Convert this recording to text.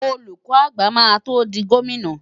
Olùkọ́ àgbà máa tó di gómìnà.